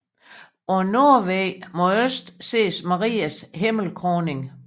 På nordvæggen mod øst ses Marias himmelkroning